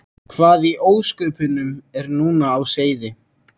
Hvað í ósköpunum var nú á seyði?